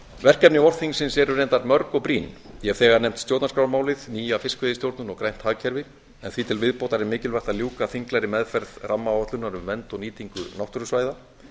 verkefni vorþingsins eru reyndar mörg og brýn ég hef þegar nefnt stjórnarskrármálið nýja fiskveiðistjórnun og grænt hagkerfi en því til viðbótar er mikilvægt að ljúka þinglegri meðferð rammaáætlunar um vernd og nýtingu náttúrusvæða